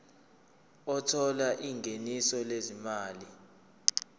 othola ingeniso lezimali